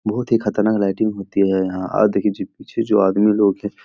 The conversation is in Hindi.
बहुत ही खतरनाक लाइटिंग होती है यहाँ आप देखिये जी पीछे जो आदमी लोग हैं --